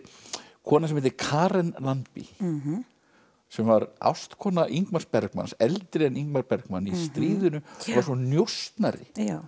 kona sem heitir Karin Lannby sem var ástkona Bergmans eldri en Bergmans í stríðinu og var svo njósnari